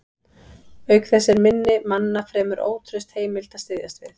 Auk þess er minni manna fremur ótraust heimild að styðjast við.